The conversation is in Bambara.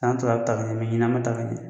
San tɔw la a bɛ ta ka ɲɛ ɲina a ma ta ka ɲɛ.